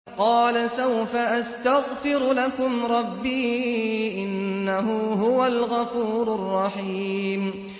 قَالَ سَوْفَ أَسْتَغْفِرُ لَكُمْ رَبِّي ۖ إِنَّهُ هُوَ الْغَفُورُ الرَّحِيمُ